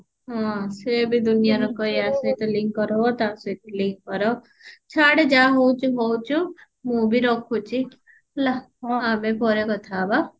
ହଁ ସିଏ ବି ଦୁନିଆର ୟା ସହିତ link କର ତା ସହିତ link କର ଛାଡେ ଯାହା ହଉଛୁ ହଉଛୁ ମୁଁ ବି ରଖୁଛି ହେଲା ଆଉ ଆମେ ପରେ କଥା ହବ